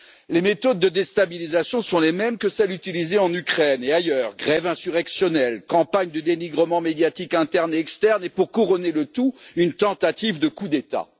Les méthodes de déstabilisation sont les mêmes que celles utilisées en Ukraine et ailleurs grèves insurrectionnelles, campagnes de dénigrement médiatique interne et externe et, pour couronner le tout, une tentative de coup d'État.